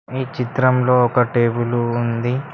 ఈ చిత్రంలో ఒక టేబులు ఉంది.